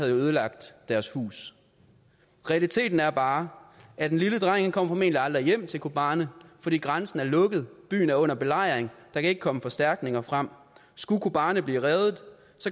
ødelagt deres hus realiteten er bare at den lille dreng formentlig aldrig kommer hjem til kobani fordi grænsen er lukket byen er under belejring der kan ikke komme forstærkninger frem skulle kobani blive reddet